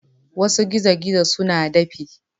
Wasu gizo-gizo suna dafi.